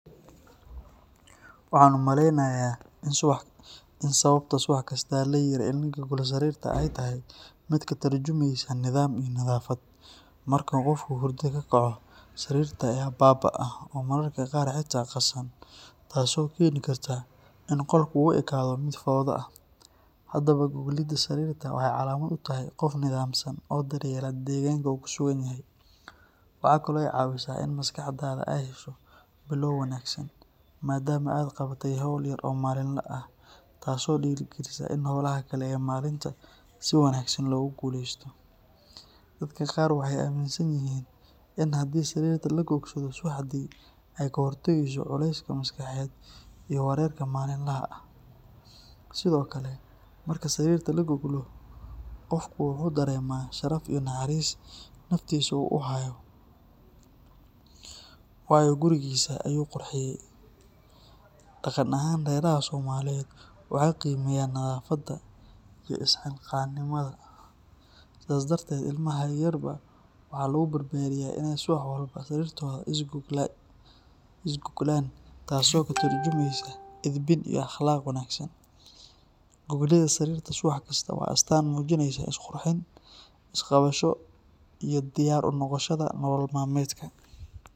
Sababaha ugu waaweyn ee dadka intooda badan u ordaan nolol maalmeedka waxaa ka mid ah baahida ay u qabaan in ay daboolaan nolol maalmeedkooda aasaasiga ah sida cuntada, hoyga, biyaha, waxbarashada carruurtooda, iyo adeegyada caafimaadka, kuwaas oo dhammaantood u baahan dadaal joogto ah, shaqo adag, iyo u heelnaansho maalintii oo dhan ah. Intaa waxaa dheer, tartanka adag ee nolosha iyo horumarka bulshada ayaa keena in qof kastaa u dhaqaaqo sidii uu ugu guuleysan lahaa yoolkiisa, uga faa’iideysan lahaa fursadaha xadidan, ugana badbaadi lahaa saboolnimo ama kalsooni darro. Qaar badan oo ka mid ah dadka waxay sidoo kale la kulmaan cadaadis bulsheed iyo mid qoys oo ku riixaya inay noqdaan kuwo firfircoon.